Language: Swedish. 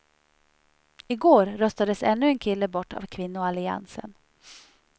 I går röstades ännu en kille bort av kvinnoalliansen.